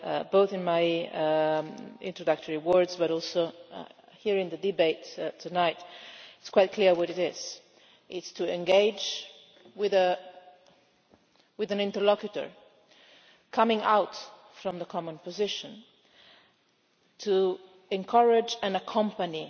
Both in my introductory words but also hearing the debate tonight, it is quite clear what it is it is to engage with an interlocutor, coming out from the common position to encourage and accompany